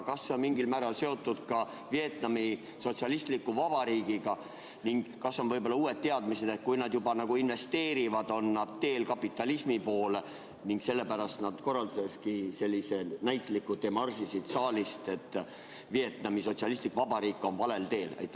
Kas see on mingil määral seotud ka Vietnami Sotsialistliku Vabariigiga ning kas on võib-olla uued teadmised, et kui nad investeerivad, siis on nad teel kapitalismi poole ning sellepärast nad korraldasidki sellise näitliku demarši siit saalist, et Vietnami Sotsialistlik Vabariik on valel teel?